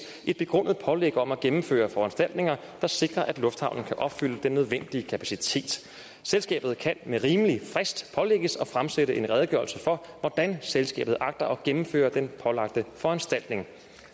et begrundet pålæg om at gennemføre foranstaltninger der sikrer at lufthavnen kan opfylde den nødvendige kapacitet selskabet kan med rimelig frist pålægges at fremsende en redegørelse for hvordan selskabet agter at gennemføre den pålagte foranstaltning